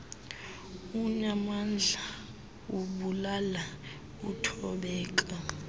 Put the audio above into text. unaamandla ubulala uthobeka